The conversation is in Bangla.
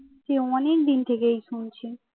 সেই অনেকদিন থেকেই শুনছি